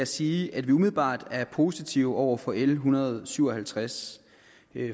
sige at vi umiddelbart er positive over for l en hundrede og syv og halvtreds